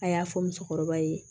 A y'a fɔ musokɔrɔba ye